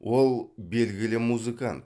ол белгілі музыкант